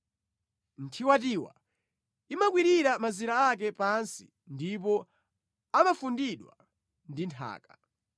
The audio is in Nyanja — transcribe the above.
Nthiwatiwa imakwirira mazira ake pansi ndipo amafundidwa ndi nthaka,